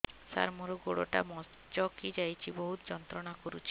ସାର ମୋର ଗୋଡ ଟା ମଛକି ଯାଇଛି ବହୁତ ଯନ୍ତ୍ରଣା କରୁଛି